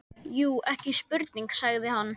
Jú, ekki spurning, sagði hann.